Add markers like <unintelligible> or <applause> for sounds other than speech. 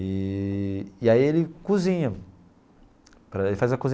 Eee e aí ele cozinha. <unintelligible>